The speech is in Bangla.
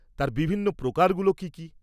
-তার বিভিন্ন প্রকারগুলো কী কী?